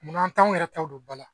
Munna anw t'anw yɛrɛ taw don ba la